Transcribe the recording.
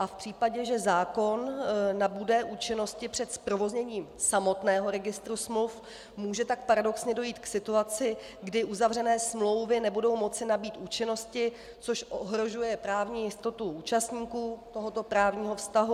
A v případě, že zákon nabude účinnosti před zprovozněním samotného registru smluv, může tak paradoxně dojít k situaci, kdy uzavřené smlouvy nebudou moci nabýt účinnosti, což ohrožuje právní jistotu účastníků tohoto právního vztahu.